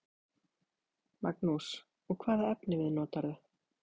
Magnús: Og hvaða efnivið notarðu?